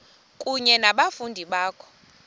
kunye nabafundi bakho